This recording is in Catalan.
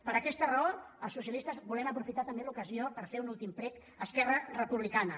per aquesta raó els socialistes volem aprofitar també l’ocasió per fer un últim prec a esquerra republicana